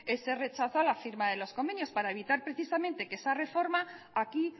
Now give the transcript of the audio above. ese rechazo a la firma de los convenios para evitar precisamente que esa reforma aquí